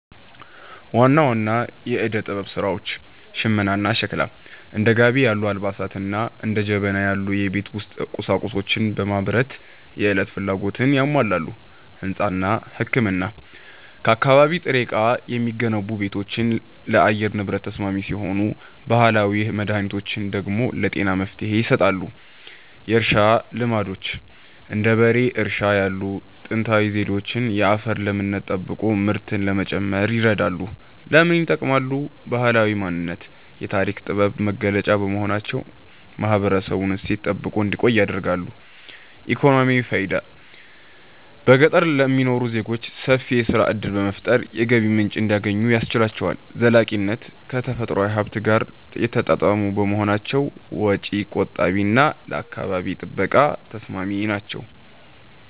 ዋና ዋና የዕደ-ጥበብ ሥራዎች ሽመናና ሸክላ፦ እንደ ጋቢ ያሉ አልባሳትንና እንደ ጀበና ያሉ የቤት ውስጥ ቁሳቁሶችን በማምረት የዕለት ፍላጎትን ያሟላሉ። ሕንጻና ሕክምና፦ ከአካባቢ ጥሬ ዕቃ የሚገነቡ ቤቶች ለአየር ንብረት ተስማሚ ሲሆኑ፣ ባህላዊ መድኃኒቶች ደግሞ ለጤና መፍትሔ ይሰጣሉ። የእርሻ ልማዶች፦ እንደ በሬ እርሻ ያሉ ጥንታዊ ዘዴዎች የአፈርን ለምነት ጠብቆ ምርትን ለመጨመር ይረዳሉ። ለምን ይጠቅማሉ? ባህላዊ ማንነት፦ የታሪክና የጥበብ መገለጫ በመሆናቸው ማህበረሰቡ እሴቱን ጠብቆ እንዲቆይ ያደርጋሉ። ኢኮኖሚያዊ ፋይዳ፦ በገጠር ለሚኖሩ ዜጎች ሰፊ የሥራ ዕድል በመፍጠር የገቢ ምንጭ እንዲያገኙ ያስችላቸዋል። ዘላቂነት፦ ከተፈጥሮ ሀብት ጋር የተጣጣሙ በመሆናቸው ወጪ ቆጣቢና ለአካባቢ ጥበቃ ተስማሚ ናቸው።